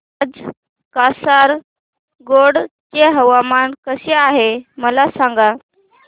आज कासारगोड चे हवामान कसे आहे मला सांगा